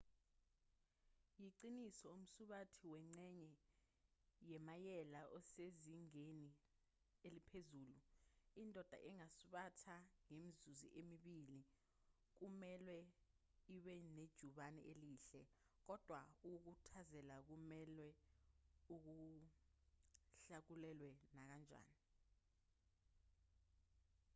yiqiniso umsubathi wengxenye yemayela osezingeni eliphezulu indoda engasubatha ngemizuzu emibili kumelwe ibe nejubane elihle kodwa ukukhuthazela kumelwe kuhlakulelwe nakanjani